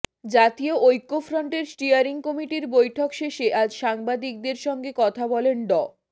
জাতীয় ঐক্যফ্রন্টের স্টিয়ারিং কমিটির বৈঠক শেষে আজ সাংবাদিকদের সঙ্গে কথা বলেন ড